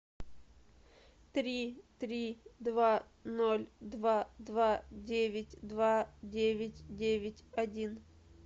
три три два ноль два два девять два девять девять один